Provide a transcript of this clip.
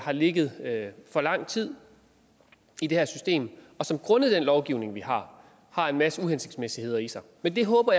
har ligget for lang tid i det her system og som grundet den lovgivning vi har har en masse uhensigtsmæssigheder i sig men jeg håber